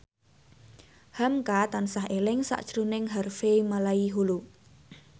hamka tansah eling sakjroning Harvey Malaiholo